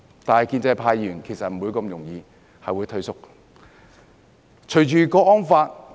不過，建制派議員是不會容易退縮的。